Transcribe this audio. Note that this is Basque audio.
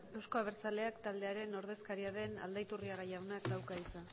euzko abertzaileak taldearen ordezkaria den aldaiturriaga jaunak dauka hitza